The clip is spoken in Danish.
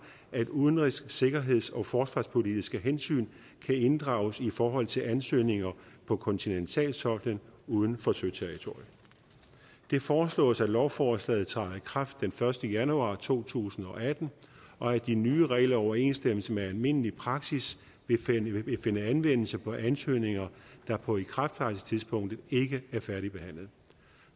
at udenrigs sikkerheds og forsvarspolitiske hensyn kan inddrages i forhold til ansøgninger på kontinentalsoklen uden for søterritoriet det foreslås at lovforslaget træder i kraft den første januar to tusind og atten og at de nye regler i overensstemmelse med almindelig praksis vil finde anvendelse på ansøgninger der på ikrafttrædelsestidspunktet ikke er færdigbehandlet